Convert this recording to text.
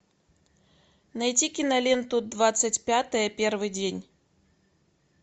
найти киноленту двадцать пятое первый день